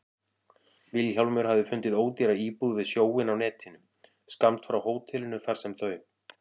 Vilhjálmur hafði fundið ódýra íbúð við sjóinn á netinu, skammt frá hótelinu þar sem þau